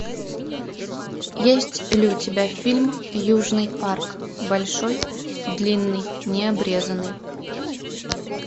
есть ли у тебя фильм южный парк большой длинный не обрезанный